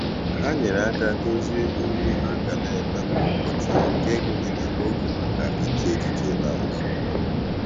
Ha nyere aka dozie ihe ha ga na-eme kwa ụbọchị nke gụnyere oge maka iche echiche na izu ike.